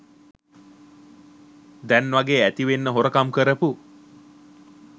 දැන්වගේ ඇතිවෙන්න හොරකම් කරපු